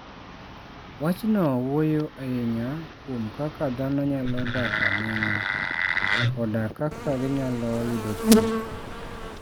Wachno wuoyo ahinya kuom kaka dhano nyalo dak aming'a, koda kaka ginyalo yudo thieth.